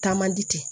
Taa man di ten